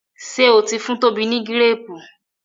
ṣe o tí fún Toba ni Gírèèpù?